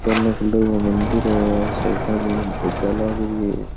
सोना कलर का मंदिर है --